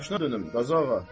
Başına dönüm, Qazı ağa.